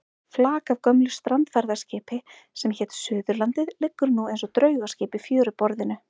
Flak af gömlu strandferðaskipi sem hét Suðurlandið liggur eins og draugaskip í fjöruborðinu.